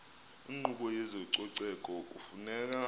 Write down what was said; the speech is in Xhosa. inkqubo yezococeko kufuneka